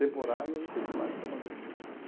Temporário, aí eu fui para lá e trabalhei nessa empresa.